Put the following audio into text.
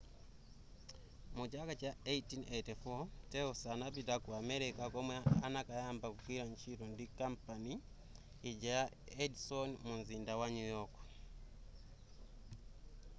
mu chaka cha 1884 telsa anapita ku america komwe anakayamba kugwira ntchito ndi kampani ija ya edison mumzinda wa new york